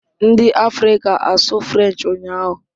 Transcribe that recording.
Ndị Afrịka asụ French ụnyahụ?